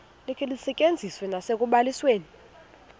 likhe lisetyenziswe nasekubalisweni